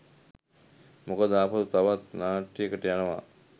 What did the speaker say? මොකද ආපසු තවත් නාට්‍යයකට යනවා